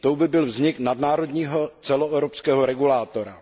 Tou by byl vznik nadnárodního celoevropského regulátora.